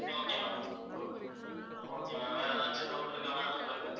okay ma'am okay, okay, okay ma'am வேற எதாச்சும் doubt இருக்கா ma'am உங்களுக்கு